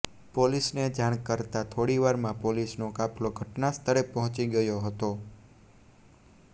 પોલીસને જાણ કરાતા થોડીવારમાં પોલીસનો કાફલો ઘટના સ્થળે પહોંચી ગયો હતો